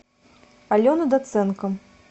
алена доценко